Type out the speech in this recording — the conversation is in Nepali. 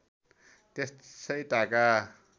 त्यसै ताका